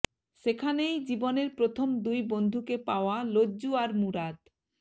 সেখানেই জীবনের প্রথম দুই বন্ধুকে পাওয়া লজ্জু আর মুরাদ